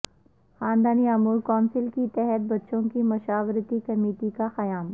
خاندانی امور کونسل کے تحت بچوں کی مشاورتی کمیٹی کا قیام